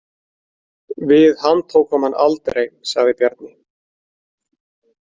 Við handtókum hann aldrei, sagði Bjarni.